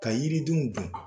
Ka yiridenw dan